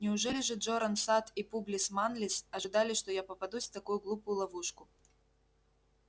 неужели же джоран сатт и публис манлис ожидали что я попадусь в такую глупую ловушку